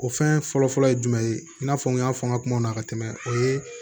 O fɛn fɔlɔ fɔlɔ ye jumɛn ye i n'a fɔ n y'a fɔ an ka kumaw na ka tɛmɛ o ye